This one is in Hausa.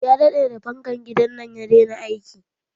Ya daɗe da fankan gidan nan ya daina aiki.